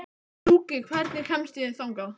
Gjúki, hvernig kemst ég þangað?